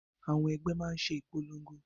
Àwọn ẹgbẹ́ máa ṣe ìpolongo